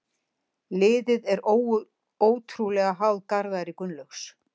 Liðið er ótrúlega háð Garðari Gunnlaugs.